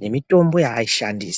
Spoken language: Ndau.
nemitombo yaaishandisa.